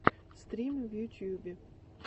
стримы в ютюбе